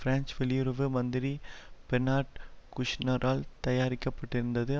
French வெளியுறவு மந்திரி Bernard குஷ்நரால் தயாரிக்கப்பட்டிருந்தது